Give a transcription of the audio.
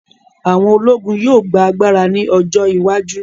Àwọn ológun yóò gba agbára ní ọjọ́ iwájú